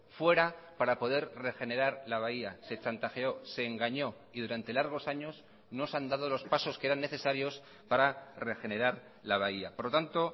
fuera para poder regenerar la bahía se chantajeó se engañó y durante largos años no se han dado los pasos que eran necesarios para regenerar la bahía por lo tanto